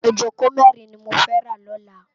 Ijókó mèrin ni mó fè rá lòlá